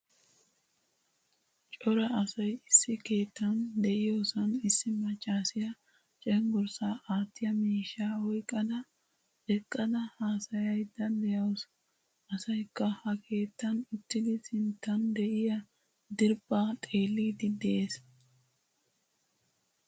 Cora asay issi keettan de'iyosan issi maccasiya cenggurssa aattiya miishshaa oyqqada eqqada haasayiyda deawusu. Asaykka ha keettan uttidi sinttan de'iyaa diriphpha xeelidi de'ees.